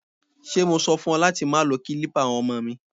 Ṣé mo sọ fún ọ láti má lo kilipa àwọn ọmọ mi?